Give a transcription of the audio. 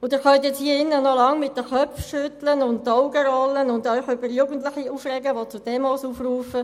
Sie können jetzt noch lange hier im Saal den Kopf schütteln, die Augen rollen und sich über Jugendliche aufregen, die zu Demos aufrufen: